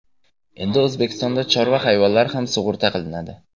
Endi O‘zbekistonda chorva hayvonlari ham sug‘urta qilinadi.